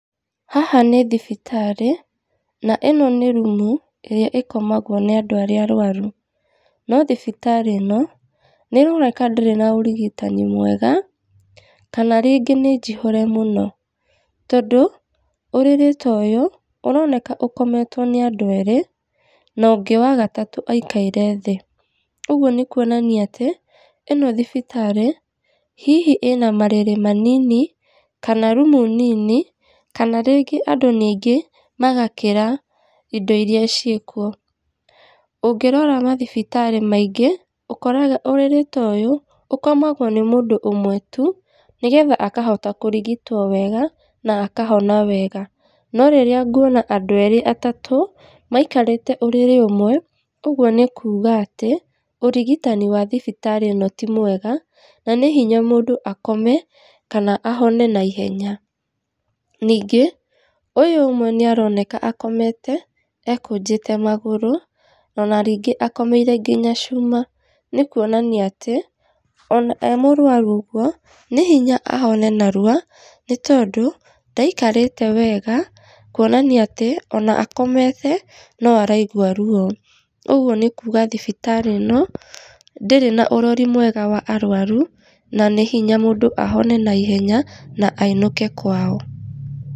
Haha nĩ thibitarĩ, na ĩno nĩ rumu, ĩrĩa ĩkomagwo nĩ andũ arĩa arwaru, no thibitarĩ ĩno, nĩ ĩroneka ndĩrĩ na ũrigitani mwega, kana rĩngĩ nĩ njihũre mũno tondũ ũrĩrĩ toyũ, ũroneka ũkometwo nĩ andũ erĩ, na ũngĩ wa gatatũ aikaire thĩ, ũguo nĩ kuonania atĩ ĩno thibitarĩ, hihi ĩna marĩrĩ manini, kana rumu nini, kana rĩngĩ andũ nĩ aingĩ magakĩra indo iria ciĩkuo. Ũngĩrora mathibitarĩ maingĩ, ũkoraga ũrĩrĩ ta ũyũ, ũkomagwo nĩ mũndũ ũmwe tu, nĩgetha akahota kũrigitwo wega, na akahona wega, no rĩrĩa nguona andũ erĩ atatũ, maikarĩte ũrĩrĩ ũmwe, ũguo nĩ kuuga atĩ ũrigitani wa thibitarĩ ĩno ti mwega, na nĩ hinya mũndũ akome, kana ahone naihenya. Ningĩ ũyũ ũmwe nĩ aroneka akomete ekũnjĩte magũrũ, ona rĩngĩ akomeire nginya cuma, nĩ kuonania atĩ ona e mũrwaru ũguo nĩ hinya ahone narua, nĩ tondũ ndaikarĩte wega, kuonania atĩ ona akomete, no araigua ruo, ũguo nĩ kuuga thibitarĩ ĩno, ndĩrĩ na ũrori mwega wa arwaru, na nĩ hinya mũndũ ahone naihenya na ainũke kwao.